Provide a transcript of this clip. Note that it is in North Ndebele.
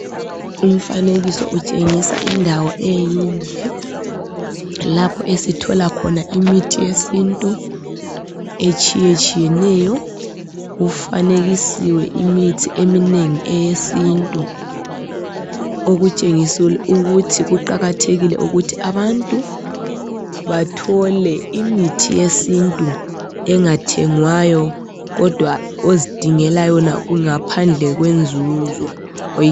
Umfanekiso utshengisa indawo endle lapho esithola khona imithi yesintu etshiyeneyo. Kufanekisiwe imithi eminengi eyesintu okutshengisa ukuthi kuqakathekile ukuthi abantu bathole imithi yesintu engathengwayo kodwa ozidingela yona ngaphandle kwenzuzo